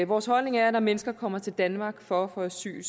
vores holdning er at når mennesker kommer til danmark for at få asyl